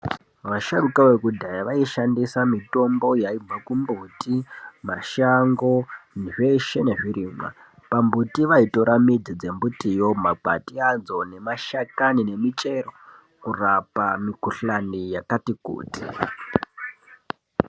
Vasharuka vokudhaya vaishandisa mitombo yaiti mikomboti mashango zveshe nez irimwa pambiti vaitora mbiti dzembuti yoo magwati adzo nemashakani nemichero kurapa mikhuhlani yakati kuti.